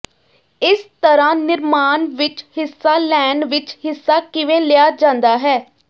ਇਸ ਤਰ੍ਹਾਂ ਨਿਰਮਾਣ ਵਿਚ ਹਿੱਸਾ ਲੈਣ ਵਿਚ ਹਿੱਸਾ ਕਿਵੇਂ ਲਿਆ ਜਾਂਦਾ ਹੈ